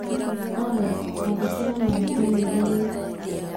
Alex, Andĩkĩra mami i-mīrū rĩu